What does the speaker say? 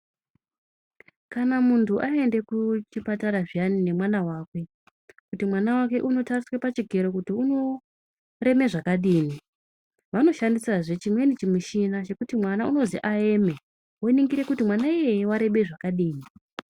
Kana muntu ayende ku chipatara zviyani ne mwana wakwe kuti mwana wake uno tariswe pa chikero kuti uno reme zvakadini vano shandisa zvee chimweni chi mushini chekuti mwana unozi ayeme wo ningira kuti mwana iyeye warebe zvakadini.